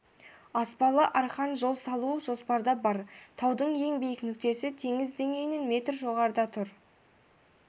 аспалы арқан жол салу жоспарда бар таудың ең биік нүктесі теңіз деңгейінен метр жоғарыда тұр